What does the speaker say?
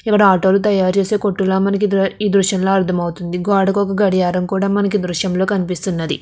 ఇక్కడ ఆటోలు తయారు చేసే కొట్టుల మనకు దృశ్యంలో అర్థమవుతుంది గోడకు ఒక గడియారం కూడా మనకు దృశ్యంలో కనిపిస్తున్నది.